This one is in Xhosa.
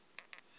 uthi yishi endiza